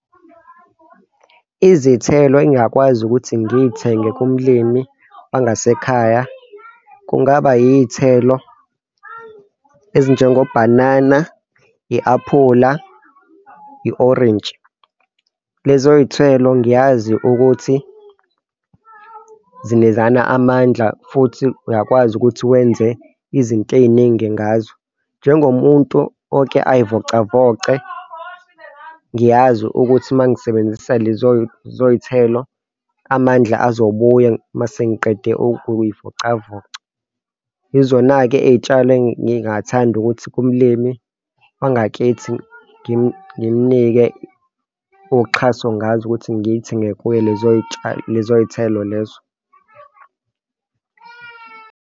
Izithelo engingakwazi ukuthi ngiy'thenge kumlimi wangasekhaya, kungaba yiy'thelo ezinjengo bhanana i-aphula i-orintshi. Lezo y'thelo. Ngiyazi ukuthi zinikezana amandla futhi uyakwazi ukuthi wenze izinto ey'ningi ngazo. Nengomuntu oke ay'vocavoce Ngiyazi ukuthi mangisebenzisa lezo iy'thelo, amandla azobuya masengiqede ukuy'vocavoca. Yizona-ke ey'tshalo engingathanda ukuthi kumlimi wangakithi ngimnike uxhaso ngazo ukuthi ngiy'thenge kuye lezoy'tshalo, lezo y'tshalo lezo.